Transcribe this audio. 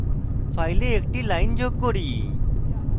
file একটি line যোগ করি